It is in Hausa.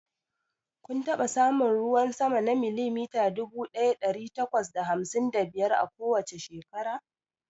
Kun taɓa samun ruwan sama na milimita dubu ɗaya ɗari takwas da hamsin da biyar a kowace shekara?